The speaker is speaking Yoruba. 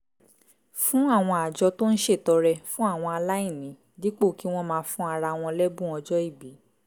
fún àwọn àjọ tó ń ṣètọrẹ fún àwọn aláìní dípò kí wọ́n máa fún ara wọn lẹ́bùn ọjọ́ ìbí